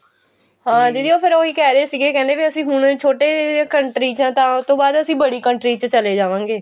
ਹਾਂ ਦੀਦੀ ਫੇਰ ਉਹੀ ਕਹਿਰੇ ਸੀਗੇ ਕਹਿੰਦੇ ਵੀ ਅਸੀਂ ਹੁਣ ਛੋਟੇ country ਚ ਆ ਤਾਂ ਉਹ ਤੋਂ ਬਾਅਦ ਅਸੀਂ ਬੜੀ country ਵਿੱਚ ਚਲੇ ਜਾਵਾਂਗੇ